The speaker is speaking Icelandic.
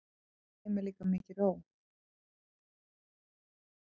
Yfir þeim er mikil ró.